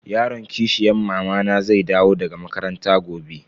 Yaron kishiyan mamana zai dawo daga makaranta gobe.